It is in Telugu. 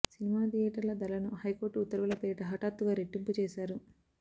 సినిమా థియేటర్ల ధరలను హై కోర్టు ఉత్తర్వుల పేరిట హఠాత్తుగా రెట్టింపు చేశారు